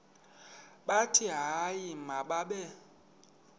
bathi hayi mababe